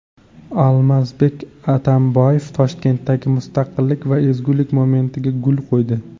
Almazbek Atamboyev Toshkentdagi Mustaqillik va ezgulik monumentiga gul qo‘ydi.